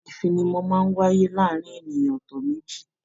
ifinimọni máa n wáyé láàrín ènìyàn ọtọ méjì.